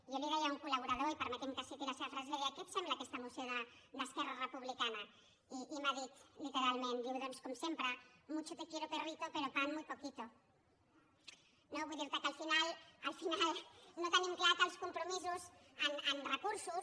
jo li deia a un col·laborador i permeti’m que citi la seva frase li deia què et sembla aquesta moció d’esquerra republicana i m’ha dit literalment diu doncs com sempre mucho te quiero perrito pero pan muy poquito no vull dir te que al final no tenim clar que els compromisos en recursos